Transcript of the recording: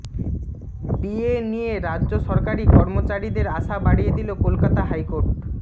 DA নিয়ে রাজ্য সরকারি কর্মচারীদের আশা বাড়িয়ে দিল কলকাতা হাইকোর্ট